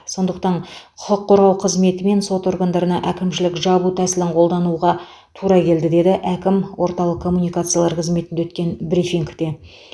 сондықтан құқық қорғау қызметі мен сот органдарына әкімшілік жабу тәсілін қолдануға қолдануға тура келді деді әкім орталық коммуникациялар қызметінде өткен брифингте